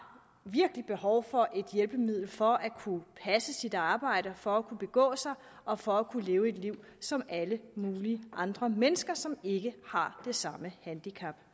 behov for et hjælpemiddel for at kunne passe sit arbejde og for at kunne begå sig og for at kunne leve et liv som alle mulige andre mennesker som ikke har det samme handicap